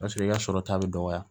Paseke i ka sɔrɔta bɛ dɔgɔya